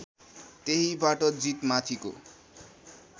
त्यहीबाट जीत माथिको